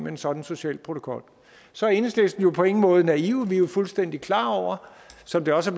en sådan social protokol så er enhedslisten jo på ingen måde naive vi er jo fuldstændig klar over som det også